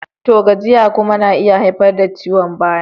To! gajiya kuma na iya haifar da ciwon baya.